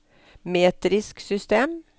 metrisk system